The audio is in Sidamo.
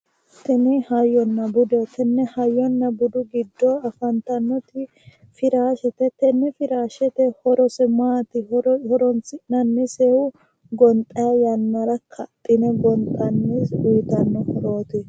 Tin hayyonna budeho, tene hayyonna budu giddo afannitanoti firaashete, tene firaashete horose maati? horonsinnanisehu gonxayi yanara ka'dhine gonxayi uyitano horooti